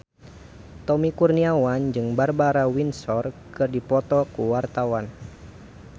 Tommy Kurniawan jeung Barbara Windsor keur dipoto ku wartawan